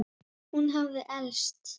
Hún hafði elst.